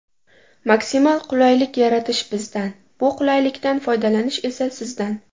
Maksimal qulaylik yaratish bizdan, bu qulaylikdan foydalanish esa sizdan!